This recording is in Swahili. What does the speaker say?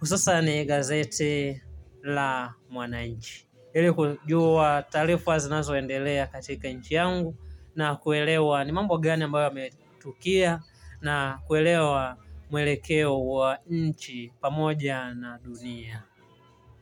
Hususan ni gazeti la mwananchi. Ili kujua taarifa zinazoendelea katika nchi yangu na kuelewa ni mambo gani ambayo yametukia na kuelewa mwelekeo wa nchi pamoja na dunia.